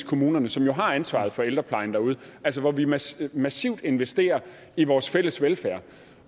kommunerne som jo har ansvaret for ældreplejen derude altså hvor vi massivt massivt investerer i vores fælles velfærd